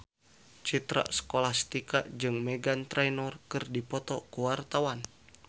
Citra Scholastika jeung Meghan Trainor keur dipoto ku wartawan